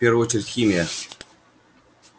в первую очередь химия